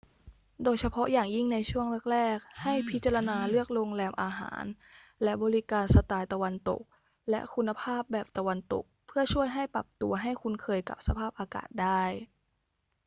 โดยเฉพาะอย่างยิ่งในช่วงแรก ๆ ให้พิจารณาเลือกโรงแรม อาหาร และบริการสไตล์ตะวันตกและคุณภาพแบบตะวันตก เพื่อช่วยให้ปรับตัวให้คุ้นเคยกับสภาพอากาศได้